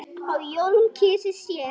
á jólum kysi sér.